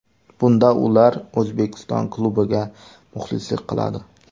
Bunda ular O‘zbekiston klubiga muxlislik qiladi.